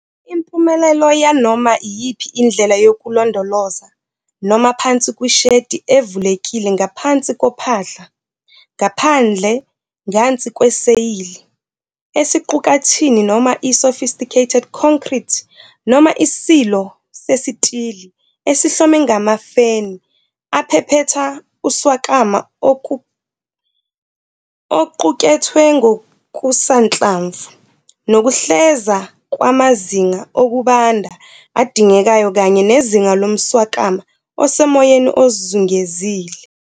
Impumelelo yanoma iyiphi indlela yokulondoloza noma phansi kwi-shedi evulekile ngaphansi kophahla, ngaphandle ngansi kweseyili, esiqukathini noma i-sophisticated concrete noma isilo sesitili esihlome ngamafeni aphephetha uswakama oqukethwe ngokusanhlamvu, nokuheleza kwamazinga okubanda adingekayo kanye nezinga lomswakama osemoyeni ozungezile.